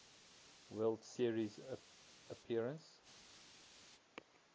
world series appearance